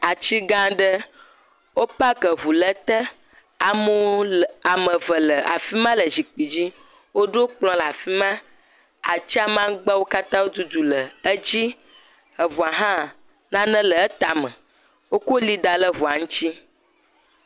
Ati gã aɖe wo park eŋu ɖe ete, amewo le ame eve le afi ma le zikpui dzi woɖo kplɔ ɖe afi ma, ati magbawo katã wo dudu le edzi, eɔua hã nane le etame wokɔ eli da ɖe eŋa ŋuti